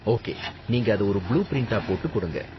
Okay, நீங்க அத ஒரு புளூ பிரிண்ட்டா போட்டு கொடுங்க.